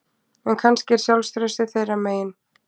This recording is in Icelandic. En kannski er sjálfstraustið þeirra megin